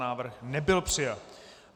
Návrh nebyl přijat.